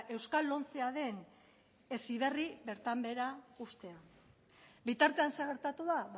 euskal lomcea den heziberri bertan behera uztea bitartean zer gertatu da